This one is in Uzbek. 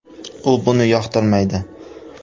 U buni yoqtirmaydi”.